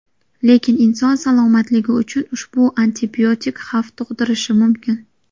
Lekin inson salomatligi uchun ushbu antibiotik xavf tug‘dirishi mumkin.